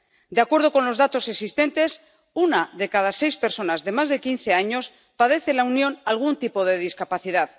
De acuerdo con los datos existentes, una de cada seis personas de más de quince años padece en la Unión algún tipo de discapacidad.